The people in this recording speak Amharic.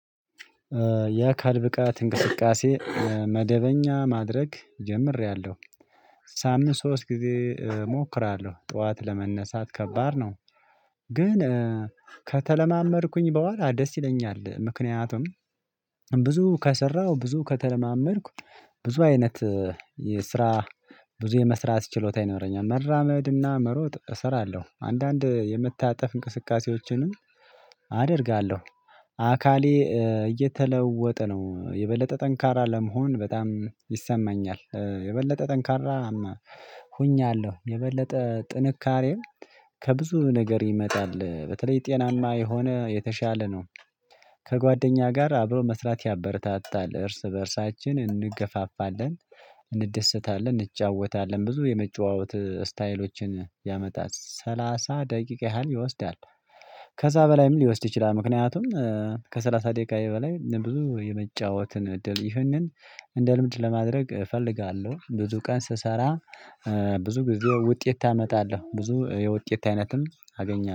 የአካል ብቃት እንቅስቃሴ መደበኛ ማድረግ ጀምሬያለሁ ሳምንት ሶስት ጊዜ እሞክራለሁ ጠዋት ለመነሳት ከባድ ነው። ግን ከተለማመድኩኝ በኋላ ደስ ይለኛል። ምክንያቱም ብዙ ከሰራው ብዙ ከተለማመድኩ ብዙ አይነት የስራ ብዙ የመስራት ችሎታ ይኖረኛል። መራመድና መሮጥ እሰራለሁ አንዳንድ የምታጠፍ እንቅስቃሴዎችንም አደርጋለሁ። አካሌ እየተለወጠ ነው የበለጠ ጠንካራ ለመሆን በጣም ይሰማኛል የበለጠ ጠንካራማ ሆኛለሁ የበለጠ ጥንካሬም ከብዙ ነገር ይመጣል በተለይ ጤናማ የሆነ የተሻለ ነው። ከጓደኛ ጋር አብሮ መስራት ያበረታታል እርስ በእርሳችን እንገፋፋለን እንደሰታለን እንጫወታለን ብዙ የመጨዋወት ስታይሎችን ያመጣት ሰላሳ ደቂቃ ያህል ይወስዳል። ከዛ በላይም ሊወስድ ይችላል ምክንያቱም ከሰላሳ ደቂቃ የበላይ ብዙ የመጫወትን እድል ይህንን እንደ ልምድ ለማድረግ እፈልጋለሁ። ብዙ ቀን ስሰራ ብዙ ጊዜ ውጤት አመጣለሁ ብዙ የውጤት አይነትም አገኘ